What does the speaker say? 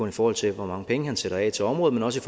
i forhold til hvor mange penge han sætter af til området men også